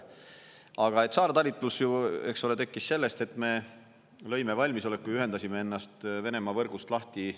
Aga et saartalitlus ju, eks ole, tekkis sellest, et me lõime valmisoleku ja ühendasime ennast Venemaa võrgust lahti.